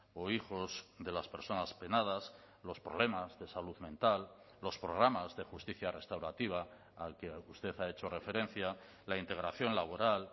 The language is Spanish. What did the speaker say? o hijos de las personas penadas los problemas de salud mental los programas de justicia restaurativa al que usted ha hecho referencia la integración laboral